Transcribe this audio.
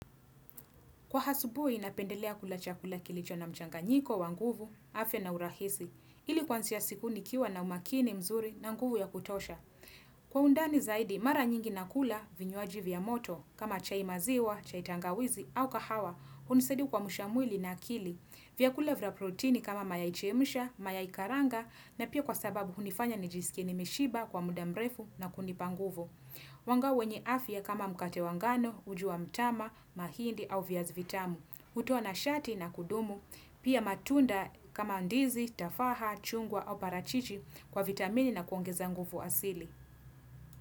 Kwa hasubuhi napendelea kula chakula kilicho na mchanganyiko, wa nguvu, afya na urahisi, ili kwansia siku nikiwa na umakini mzuri na nguvu ya kutosha. Kwa undani zaidi, mara nyingi nakula, vinywaji vya moto, kama chai maziwa, chai tangawizi au kahawa, unisadia kwamsha mwili na akili. Vyakula vya proteini kama mayai chemusha, mayai karanga na pia kwa sababu hunifanya nijisikie nimeshiba kwa muda mrefu na kunipa nguvu. Wanga wenye afya kama mkate wa ngano, uji wa mtama, mahindi au viazi vitamu. Hutoa nashati na kudumu, pia matunda kama ndizi, tafaha, chungwa au parachichi kwa vitamini na kuongeza nguvu asili.